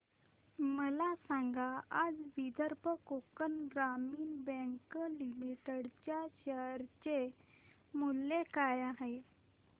मला सांगा आज विदर्भ कोकण ग्रामीण बँक लिमिटेड च्या शेअर चे मूल्य काय आहे